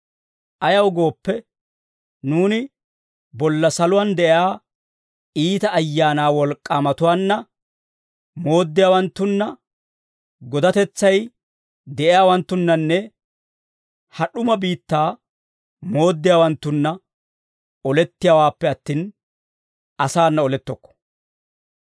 Ayaw gooppe, nuuni bolla saluwaa de'iyaa iita ayaana wolk'k'atuwaanna, mooddiyaawanttunna, godatetsay de'iyaawanttunnanne ha d'uma biittaa mooddiyaawanttunna olettiyaawaappe attin, asaana olettokko.